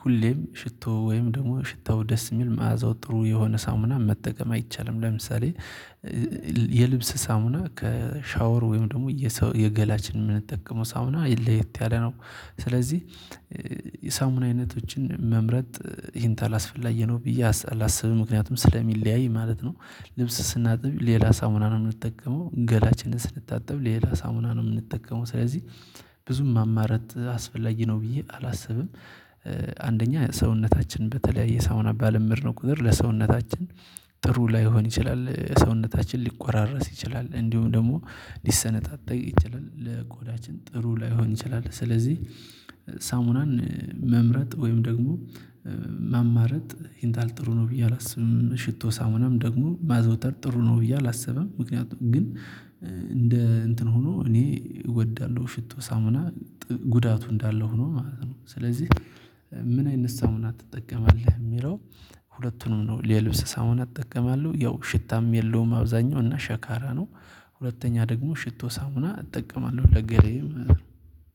ሁሌም ሽቶ ወይም ደግሞ ሽታው ደስ የሚል መዓዛው ጥሩ የሆነ ሳሙና መጠቀም አይቻልም። ለምሳሌ የልብስ ሳሙና ከሻወር ወይም ደግሞ የገላችንን የምንጠቀመው ሳሙና ለየት ያለ ነው። ስለዚህ የሳሙና አይነቶችን መምረጥ ይሄን ታላስፈላጊ ነው ብዬ አላስብም ምክንያቱም ስለሚለያይ ማለት ነው። ልብስ ስናጥብ ሌላ ሳሙና ነው የምንጠቀመው ገላችንን ስንታጠብ ሌላ ሳሙና ነው የምንጠቀመው። ስለዚህ ብዙም ማማረጥ አስፈላጊ ነው ብዬ አላስብም። አንደኛ ሰውነታችን በተለያየ ሳውና ባለመድነው ነው። ቁጥር ለሰውነታችን ጥሩ ላይሆን ይችላል ሰውነታችን ሊቆራረስ ይችላል እንዲሁም ደሞ ሊሰነጣጠቅ ይችላል። ለቆዳችን ጥሩ ላይሆን ይችላል። ስለዚህ ሳሙናን መምረጥ ወይም ደግሞ ማማረጥ ይንጣል ጥሩ ነው ብዬ አላስብም። ሽቶ ሳሙናም ደግሞ ማዘውተር ጥሩ ነው ብዬ አላስበም። ምክንያቱም ግን እንደ እንትን ሆኖ እኔ እወዳለሁ ሽቶ ሳሙና ጉዳቱ እንዳለው ሆኖ ማለት ነው። ስለዚህ ምን አይነት ሳሙና ትጠቀማለህ የሚለው? ሁለቱንም ነው የልብስ ሳሙና እጠቀማለሁ ያው ሽታም የለውም አብዛኛው እና ሸካራ ነው። ሁለተኛ ደግሞ ሽቶ ሳሙና እጠቀማለሁ ለገላዬም